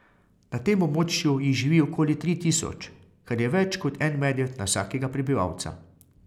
Na tem območju jih živi okoli tri tisoč, kar je več kot en medved na vsakega prebivalca.